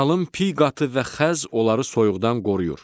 Qalın piy qatı və xəz onları soyuqdan qoruyur.